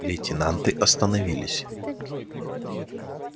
лейтенанты остановились